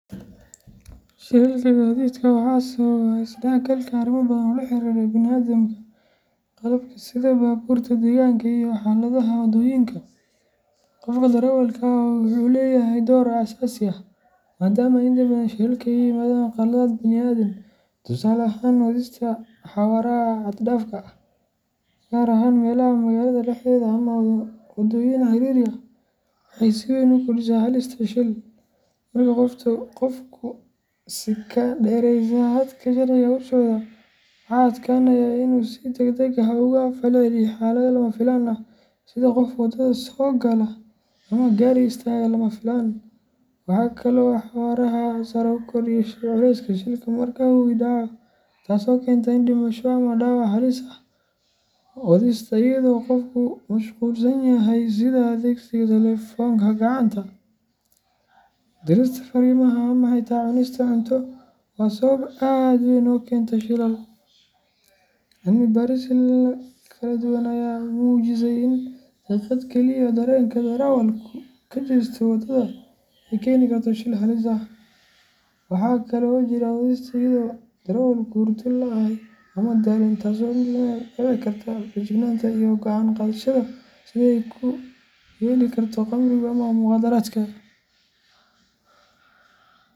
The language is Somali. Shilalka gaadiidka waxaa sababa is-dhexgalka arrimo badan oo la xiriira bini’aadamka, qalabka sida baabuurta, deegaanka iyo xaaladaha waddooyinka. Qofka darawalka ah wuxuu leeyahay door aasaasi ah, maadaama inta badan shilalka ay ka yimaadaan khaladaad bini’aadan. Tusaale ahaan, wadista xawaaraha xad dhaafka ah, gaar ahaan meelaha magaalada dhexdeeda ama wadooyin ciriiri ah, waxay si weyn u kordhisaa halista shil. Marka qofku si ka dheereysa xadka sharciga u socdo, waxa adkaanaya in uu si deg deg ah uga falceliyo xaalado lama filaan ah sida qof waddada soo gala ama gaari istaaga lama filaan. Waxaa kale oo xawaaraha sare uu kordhiyaa culayska shilka marka uu dhacayo, taasoo keenta dhimasho ama dhaawac halis ah. Wadista iyadoo qofku mashquulsan yahay sida adeegsiga taleefanka gacanta, dirista fariimaha, ama xitaa cunista cunto waa sabab aad u weyn oo keenta shilal. Cilmi baarisyo kala duwan ayaa muujisay in daqiiqad keliya oo dareenka darawalku ka jeesto waddada ay keeni karto shil halis ah. Waxaa kale oo jira wadista iyadoo darawalku hurdo la’ yahay ama daalan, taasoo si la mid ah u dhaawici karta feejignaanta iyo go’aan qaadashada sida ay u yeeli karto khamrigu ama mukhaadaraadka.